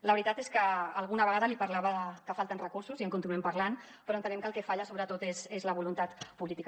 la veritat és que alguna vegada li parlava que falten recursos i en continuem parlant però entenem que el que falla sobretot és la voluntat política